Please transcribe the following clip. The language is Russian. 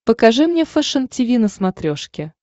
покажи мне фэшен тиви на смотрешке